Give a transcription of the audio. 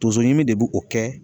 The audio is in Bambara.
Tonso ɲimi de b'o kɛ